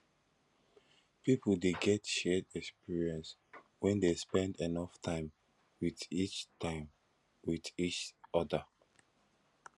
pipo de get shared experience when de spend enough time with each time with each other